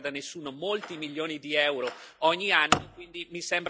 Just an observation, Mr Coburn in our history there were many horrors.